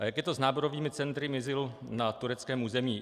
A jak je to s náborovými centry ISIL na tureckém území?